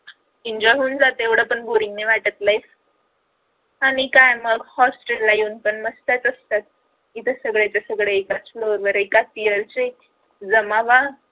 enjoy होऊन जाते एवड पण boring नाही वाटत life आणि काय मग Hostel ला येऊन पण मस्तयाच असतात इथे सगळ्याचे सगळे एकाच floor वर एकाच Year चे जमावात